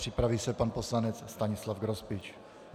Připraví se pan poslanec Stanislav Grospič.